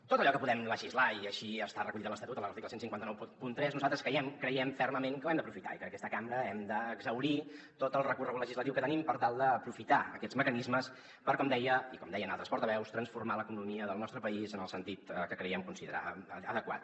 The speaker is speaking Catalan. tot allò que podem legislar i així està recollit a l’estatut a l’article quinze noranta tres nosaltres creiem fermament que ho hem d’aprofitar i que en aquesta cambra hem d’exhaurir tot el recorregut legislatiu que tenim per tal d’aprofitar aquests mecanismes per com deia i com deien altres portaveus transformar l’economia del nostre país en el sentit que creiem considerar adequat